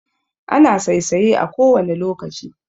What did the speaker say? Ana saisaye a kowane lokaci